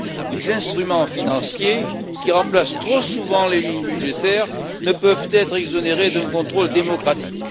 Les instruments financiers, qui remplacent trop souvent les lignes budgétaires, ne peuvent être exonérés d'un contrôle démocratique.